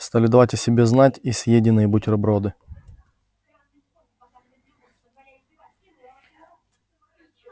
стали давать о себе знать и съеденные бутерброды